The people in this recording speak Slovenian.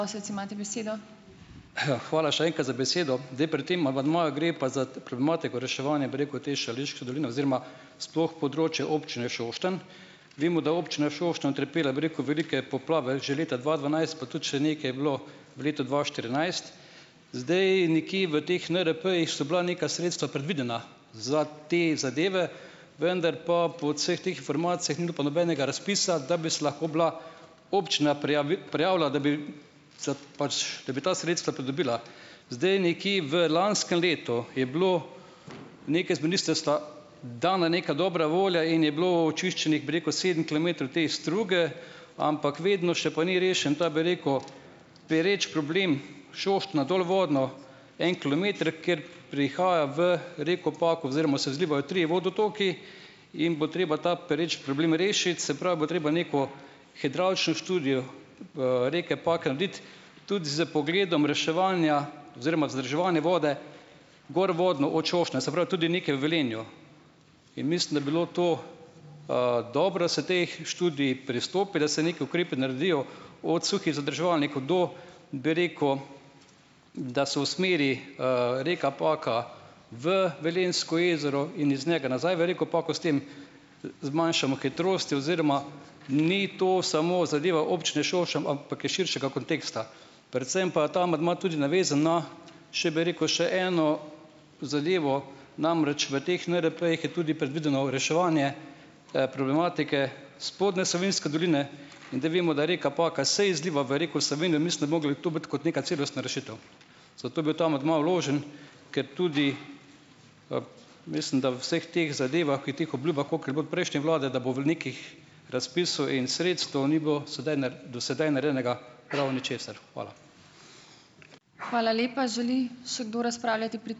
Ja, hvala še enkrat za besedo. Zdaj, pri tem amandmaju gre pa za problematiko reševanja, bi rekel, te Šaleške doline oziroma sploh področja občine Šoštanj. Vemo, da občina Šoštanj utrpela, bi rekel, velike poplave že leta dva dvanajst, pa tudi še nekaj je bilo v letu dva štirinajst. Zdaj, nikjer v teh NRP-jih so bila neka sredstva predvidena za te zadeve, vendar pa po vseh teh informacijah ni bilo pa nobenega razpisa, da bi se lahko bila občina prijavila, da bi za pač da bi ta sredstva pridobila. Zdaj, nekje v lanskem letu je bilo nekaj z ministrstva dana neka dobra volja in je bilo očiščenih, bi rekel, sedem kilometrov te struge, ampak vedno še pa ni rešen ta, bi rekel, pereč problem Šoštanj dolvodno en kilometer, kjer prihaja v reko Pako oziroma se izlivajo trije vodotoki, in bo treba ta pereč problem rešiti, se pravi, bo treba neko hidravlično študijo, reke Pake narediti tudi s pogledom reševanja oziroma vzdrževanja vode gorvodno od Šoštanja, se pravi, tudi nekaj v Velenju in mislim, da bi bilo to, dobro, da se teh študij pristopi, da se nekaj ukrepi naredijo od suhih zadrževalnikov do, bi rekel, da se usmeri, reka Paka v Velenjsko jezero in iz njega nazaj v reko Pako, s tem zmanjšamo hitrosti oziroma ni to samo zadeva občine Šoštanj, ampak je širšega konteksta. Predvsem pa ta amandma tudi navezan na, še, bi rekel, še eno zadevo, namreč v teh NRP-jih je tudi predvideno reševanje, problematike spodnje Savinjske doline in da vemo, da reka Paka se izliva v reko Savinjo, mislim, da bi mogli tu biti kot neka celostna rešitev, zato je bil ta amandma vložen, ker tudi, mislim, da v vseh teh zadevah in teh obljubah, koliko je bilo prejšnje vlade, da bo v nekih razpisov in sredstev, ni bilo sedaj do sedaj narejenega prav ničesar. Hvala.